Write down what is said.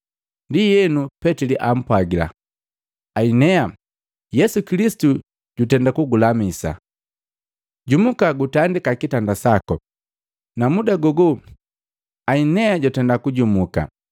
Ndienu, Petili ampwagila, “Ainea, Yesu Kilisitu jutenda kukulamisa. Jumuka gutandika kitanda sako.” Na muda gogo Ainea jwatenda kujumuka.